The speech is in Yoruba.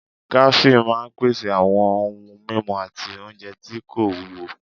Kàáfè máa n pèsè àwọn ohun mímu àti oúnjẹ tí kò wúwo